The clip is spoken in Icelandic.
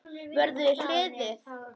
Vörður í hliðið.